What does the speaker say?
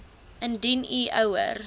indien u ouer